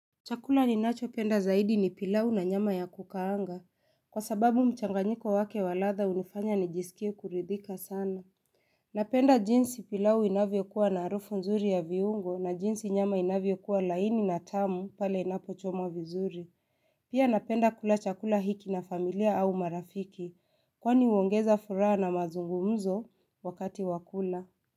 Chakula ninachopenda zaidi ni pilau na nyama ya kukaanga, kwa sababu mchanganyiko wake wa ladha unifanya nijisikie kuridhika sana. Napenda jinsi pilau inavyokuwa na harufu nzuri ya viungo na jinsi nyama inavyo kuwa laini na tamu pale inapochomwa vizuri. Pia napenda kula chakula hiki na familia au marafiki, kwani huongeza furaha na mazungumzo wakati wakula.